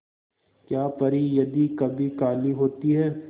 क्या परी यदि कभी काली होती है